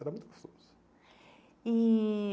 Era muito gostoso. E